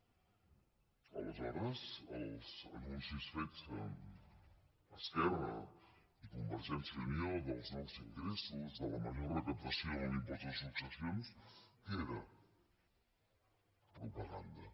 aleshores els anuncis fets amb esquerra i convergència i unió dels nous ingressos de la major recaptació en l’impost de successions què era propaganda